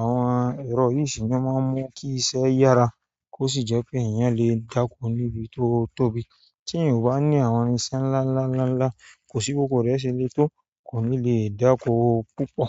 Àwọn ẹ̀rọ yìí ṣe n'ọ́ ma ń mú kí iṣẹ́ yára kó sì jẹ́ pé èèyàn lè dá'ko níbi t'ó tóbi. Tí èèyàn ò bá ní àwọn irinṣẹ́ ńláńlá ńláńlá, kò sí b'óko rẹ̀ ṣe le tó, kò ní lè dá'ko púpọ̀.